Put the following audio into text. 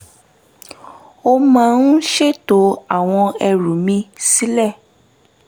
mo máa ń ṣètò àwọn ẹrù mi sílẹ̀